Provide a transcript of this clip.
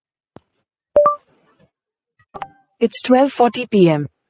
its twelve fortyPM